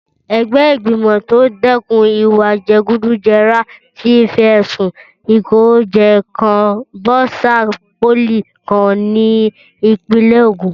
Ẹgbẹ́ ìgbìmọ̀ tó ń dẹ́kun ìwà jẹgúdújẹrá ti fi ẹ̀sùn ìkówójẹ kan bọ́sà pólì kan ni Ìpínlẹ̀ Ògùn